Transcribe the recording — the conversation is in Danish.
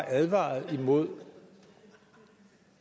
advaret imod